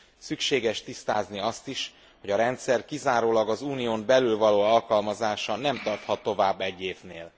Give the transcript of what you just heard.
Szükséges tisztázni azt is, hogy a rendszer kizárólag az Unión belül való alkalmazása nem tarthat tovább egy évnél.